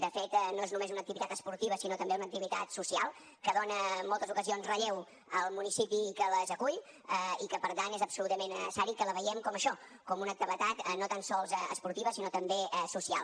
de fet no és només una activitat esportiva sinó també una activitat social que dona en moltes ocasions relleu al municipi que les acull i que per tant és absolutament necessari que la veiem com això com una activitat no tan sols esportiva sinó també social